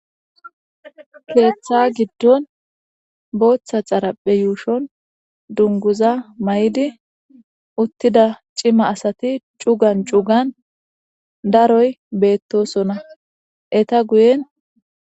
keeththa giddon booththa xaraphe yuushon dunguza may7idi uttida cima asati cugan cugan daroy beettosona eta guyen